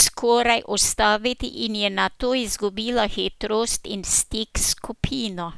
skoraj ustaviti in je nato izgubila hitrost in stik s skupino.